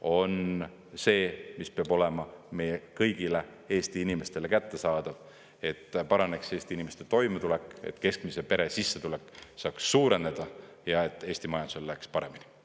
on see, mis peab olema meie kõigile Eesti inimestele kättesaadav, et paraneks Eesti inimeste toimetulek, et keskmise pere sissetulek saaks suureneda ja et Eesti majandusel läheks paremini.